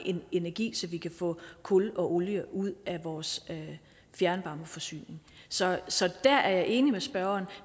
energi så vi kan få kullene og olien ud af vores fjernvarmeforsyning så så der er jeg enig med spørgeren